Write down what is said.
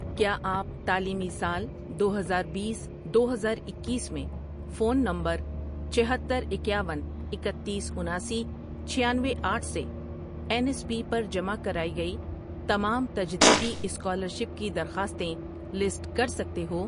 کیا آپ تعلیمی سال دو ہزار بیس، دو ہزاراکیس میں فون نمبرچھہتر، اکیاون، اکتیس، اناسی، چھیانوے، آٹھ سے این ایس پی پر جمع کرائی گئی تمام تجدیدی اسکالرشپ کی درخواستیں لسٹ کر سکتے ہو؟